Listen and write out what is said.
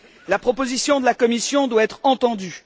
La proposition de la Commission doit être entendue.